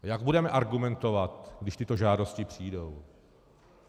Jak budeme argumentovat, když tyto žádosti přijdou?